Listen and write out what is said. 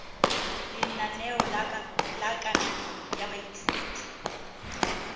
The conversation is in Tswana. lenaneo la kananyo ya baithuti